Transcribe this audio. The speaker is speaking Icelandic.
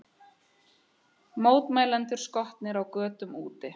Mótmælendur skotnir á götum úti